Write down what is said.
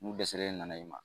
dɛsɛlen ne nana i ma.